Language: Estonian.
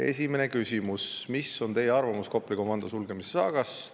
Esimene küsimus: "Mis on Teie arvamus Kopli komando sulgemise saagast?